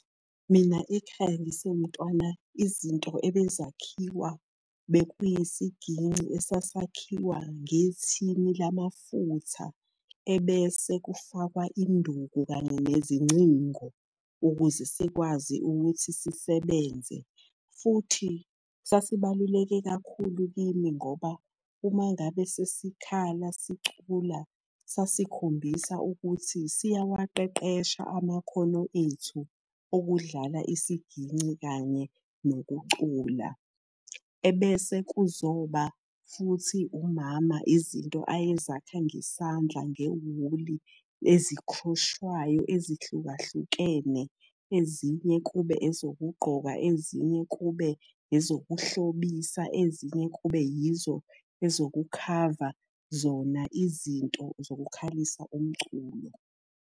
Mina ekhaya ngisewumntwana, izinto ebezakhiwa, bekuyisiginci esasakhiwa ngethini lamafutha ebese kufakwa induku kanye nezingcingo ukuze sikwazi ukuthi sisebenze. Futhi sasibaluleke kakhulu kimi ngoba uma ngabe sesikhala sicula sasikhombisa ukuthi siyawaqeqesha amakhono ethu okudlala isiginci kanye nokucula. Ebese kuzoba futhi umama izinto ayezakha ngesandla, ngewuli ezikhroshwayo ezihlukahlukene. Ezinye kube ezokugqoka, ezinye kube ezokuhlobisa, ezinye kube yizo ezokukhava zona izinto zokukhalisa umculo.